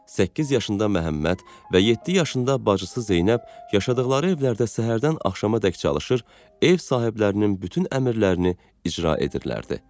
Səkkiz yaşında Məhəmməd və yeddi yaşında bacısı Zeynəb yaşadıqları evlərdə səhərdən axşamadək çalışır, ev sahiblərinin bütün əmrlərini icra edirdilər.